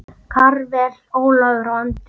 Karvel, Ólafur og Andri.